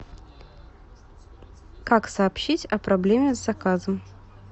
как сообщить о проблеме с заказом